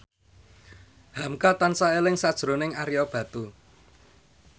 hamka tansah eling sakjroning Ario Batu